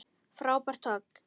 Frábært högg.